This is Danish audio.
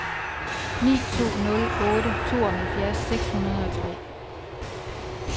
ni to nul otte tooghalvfjerds seks hundrede og tre